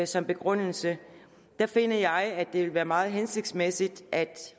som begrundelse der finder jeg at det vil være meget hensigtsmæssigt at